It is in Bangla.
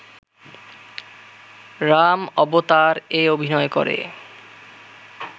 রাম-অবতার এ অভিনয় করে